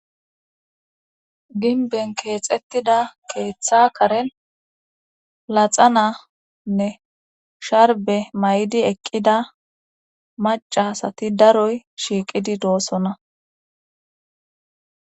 ginben keexettida keeththa karen laxananne sharbe may7di eqqida macasati daroy shiiqidi doosona